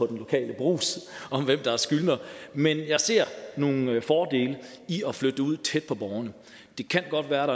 den lokale brugs om hvem der er skyldnere men jeg ser nogle fordele i at flytte det ud tæt på borgerne det kan godt være